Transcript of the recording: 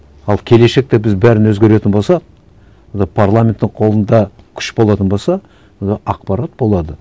ал келешекте біз бәрін өзгеретін болсақ онда парламенттің қолында күш болатын болса онда ақпарат болады